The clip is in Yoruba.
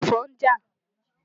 Ẹ̀fọn ń jà.